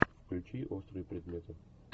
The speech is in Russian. включи острые предметы